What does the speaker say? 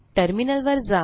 टर्मिनलवर जा